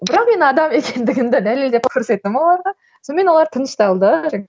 бірақ мен адам екендігімді дәлелдеп көрсеттім оларға сонымен олар тынышталды